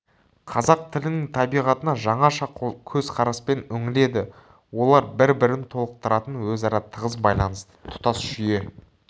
қазақ тілінің табиғатына жаңаша көзқараспен үңіледі олар бір-бірін толықтыратын өзара тығыз байланысты тұтас жүйе